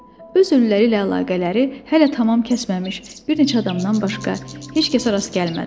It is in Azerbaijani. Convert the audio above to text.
Öz ölüləri ilə əlaqələri hələ tamam kəsməmiş bir neçə adamdan başqa heç kəsə rast gəlmədim.